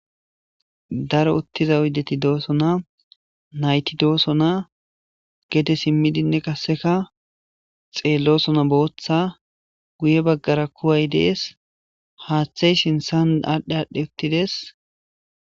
daro uttiza uddeti doosona nayti doosona gede simmidinne kasseka xeelloosona booththa guye baggara kuway dees haaththey sinthan aadhdhe aadhdhe uttides